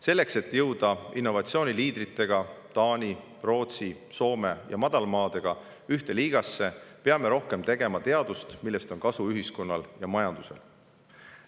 Selleks, et jõuda innovatsiooni liidritega – Taani, Rootsi, Soome ja Madalmaadega – ühte liigasse, peame rohkem tegema teadust, millest on kasu ühiskonnale ja majandusele.